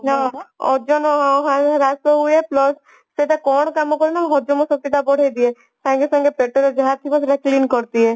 ଓଜନ ହଁ ହଁ ହ୍ରାସ ହୁଏ plus ସେଟା କଣ କାମ କରେ ନା ହଜମ ଶକ୍ତି ଟା ବଢେଇଦିଏ ସଙ୍ଗେ ସଙ୍ଗେ ପେଟରେ ଯାହାଥିବ ସେଟା clean କରିଦିଏ